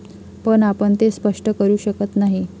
पण आपण ते स्पष्ट करू शकत नाही.